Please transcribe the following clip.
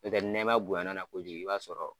N'o tɛ ni nɛma bonyan'a na kojugu i b'a sɔrɔ